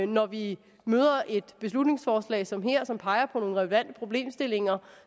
når vi møder et beslutningsforslag som her som peger på nogle relevante problemstillinger